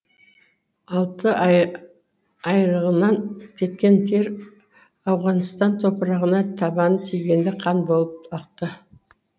алты айрығынан кеткен тер ауғаныстан топырағына табаны тигенде қан боп ақты